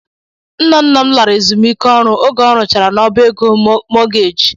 Nna nna m lara ezumike ọrụ oge ọ rụchara n'ọbá ego mọọgeeji.